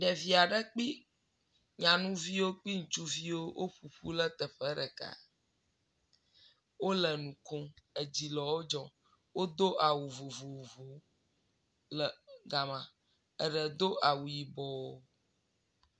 Ɖevi aɖe kpli nyanuviwo ŋutsuviwo woƒo ƒu le teƒe ɖeka, wole nu ko, edzi le wo dzɔɔ, wodo awu vovovo le gama. Eɖe do awu yibɔ.